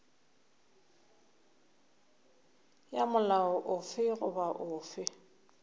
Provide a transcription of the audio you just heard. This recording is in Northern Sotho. ya molao ofe goba ofe